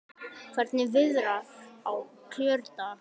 Hvernig viðrar á kjördag?